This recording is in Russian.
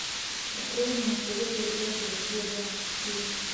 открой мне на тв передачу россия двадцать четыре